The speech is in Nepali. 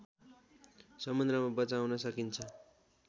समुद्रमा बचाउन सकिन्छ